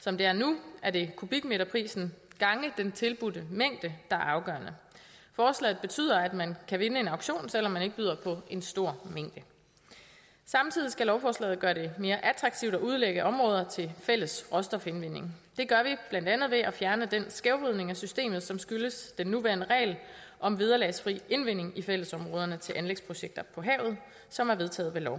som det er nu er det kubikmeterprisen gange den tilbudte mængde der er afgørende forslaget betyder at man kan vinde en auktion selv om man ikke byder på en stor mængde samtidig skal lovforslaget gøre det mere attraktivt at udlægge områder til fælles råstofindvinding det gør vi blandt andet ved at fjerne den skævvridning af systemet som skyldes den nuværende regel om vederlagsfri indvinding i fællesområderne til anlægsprojekter på havet som er vedtaget ved lov